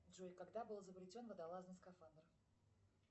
джой когда был изобретен водолазный скафандр